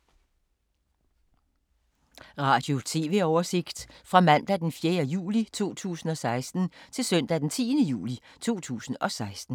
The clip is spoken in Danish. Radio/TV oversigt fra mandag d. 4. juli 2016 til søndag d. 10. juli 2016